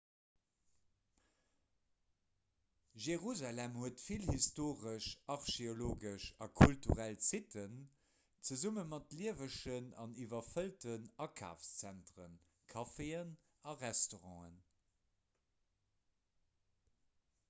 jerusalem huet vill historesch archeologesch a kulturell sitten zesumme mat liewegen an iwwerfëllten akafszentren caféen a restauranten